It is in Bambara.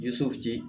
Ye